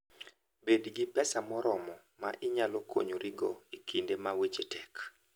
Bed gi pesa moromo ma inyalo konyorigo e kinde ma weche tek.